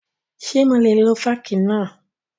Ṣé mo lè lo fọ́ọ̀kì náà?